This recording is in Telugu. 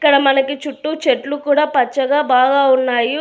ఇక్కడ మనకి చుట్టూ చెట్లు కూడా పచ్చగా బాగా ఉన్నాయు.